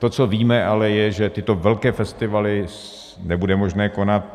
To, co víme, ale je, že tyto velké festivaly nebude možné konat.